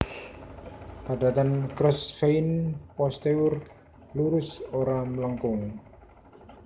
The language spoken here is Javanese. Padatan Crossvein posterior lurus ora mlengkung